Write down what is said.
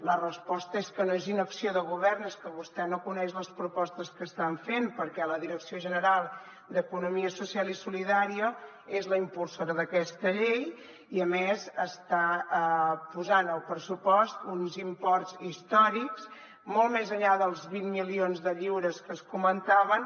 la resposta és que no és inacció de govern és que vostè no coneix les propostes que estan fent perquè la direcció general d’economia social i solidària és la impulsora d’aquesta llei i a més està posant al pressupost uns imports històrics molt més enllà dels vint milions d’euros que es comentaven